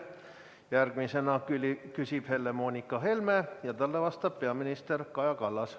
Järgmisena küsib Helle-Moonika Helme ja talle vastab peaminister Kaja Kallas.